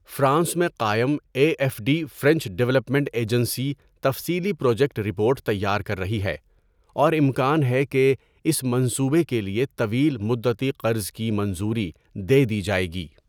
France میں قائم A F D French development agency تفصیلی پروجیکٹ رپورٹ تیار کر رہی ہے اور امکان ہے کہ اس منصوبے کے لیے طویل مدتی قرض کی منظوری دے دی جائے گی.